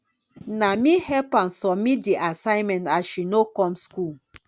na me help am submit di assignment as she no come skool.